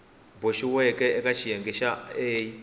boxiweke eka xiyenge xa a